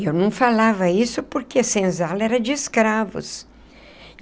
Eu não falava isso porque senzala era de escravos.